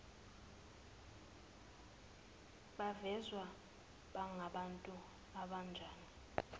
bavezwe bangabantu abanjani